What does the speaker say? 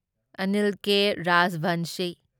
Anil K. Rajvanshi